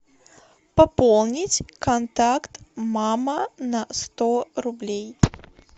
пополнить контакт мама на сто рублей